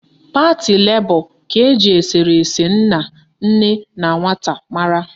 Pati Lebọ ka eji eserese nna, nne na nwata mara